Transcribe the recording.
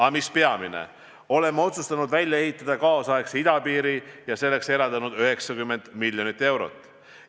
Aga mis peamine, oleme otsustanud välja ehitada kaasaegse idapiiri ja selleks eraldanud 90 miljonit eurot.